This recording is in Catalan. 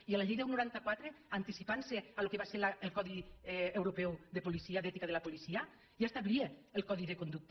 i la llei deu noranta quatre anticipant·se al que va ser el codi euro·peu de policia d’ètica de la policia ja establia el codi de conducta